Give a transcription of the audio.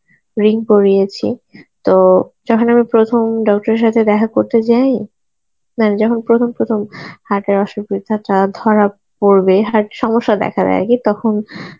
ring পরিয়েছি, তো যখন আমি প্রথম doctor এর সাথে দেখা করতে যাই, মানে যখন প্রথম প্রথম heart এর অসুবিধাটা ধরা পরবে heart সমস্যা দেখা দেয় গিয়ে তখন